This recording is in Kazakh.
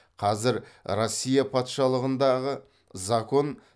қазір россия патшалығындағы закон